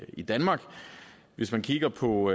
i danmark hvis man kigger på